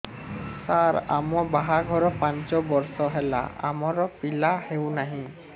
ସାର ଆମ ବାହା ଘର ପାଞ୍ଚ ବର୍ଷ ହେଲା ଆମର ପିଲା ହେଉନାହିଁ